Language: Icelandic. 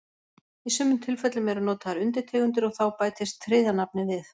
Í sumum tilfellum eru notaðar undirtegundir og þá bætist þriðja nafnið við.